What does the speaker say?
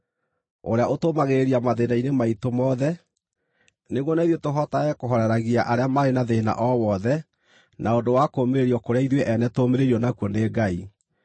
ũrĩa ũtũũmagĩrĩria mathĩĩna-inĩ maitũ mothe, nĩguo na ithuĩ tũhotage kũhooreragia arĩa marĩ na thĩĩna o wothe na ũndũ wa kũũmĩrĩrio kũrĩa ithuĩ ene tũũmĩrĩirio nakuo nĩ Ngai.